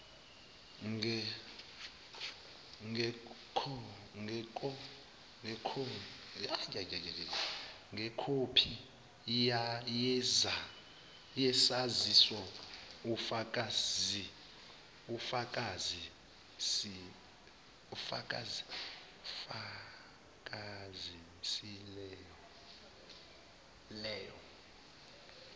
ngekhophi yesaziso umfakisieelo